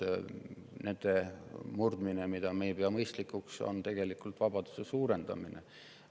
Selliste murdmine, mida me ei pea mõistlikuks, on tegelikult vabaduse suurendamine.